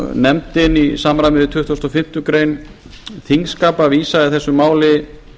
nefndin í samræmi við tuttugustu og fimmtu greinar þingskapa vísaði þessu máli